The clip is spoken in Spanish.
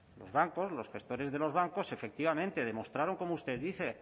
los bancos los gestores de los bancos efectivamente demostraron como usted dice